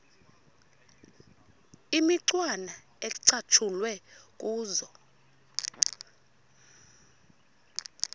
imicwana ecatshulwe kuzo